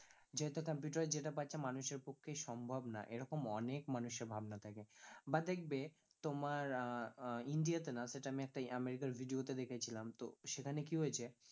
computer যেটা পারছে মানুষের পক্ষেই সম্ভব না এরকম অনেক মানুষের ভাবনা থাকে, বা দেখবে তোমার আহ আহ ইন্ডিয়া তে না সেটা আমি একটা আমেরিকা র video তে দেখেছিলাম তো সেখানে কি হয়েছে